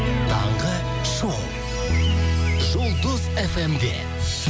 таңғы шоу жұлдыз фм де